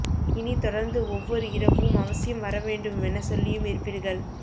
இனி தொடர்ந்து ஒவ்வொரு இரவும் அவசியம் வரவேண்டுமென சொல்லியும் இருப்பீர்கள்